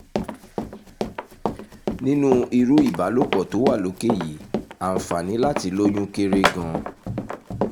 nínú irú ìbálòpọ̀ tó wà lókè yìí àǹfààní láti lóyún kéré gan-an